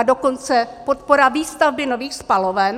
A dokonce podpora výstavby nových spaloven?